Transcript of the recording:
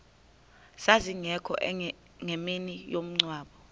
zazingekho ngemini yomngcwabo